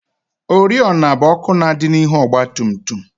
Oriọna bụ ọkụ na-adị n'ihu ọgbatumtum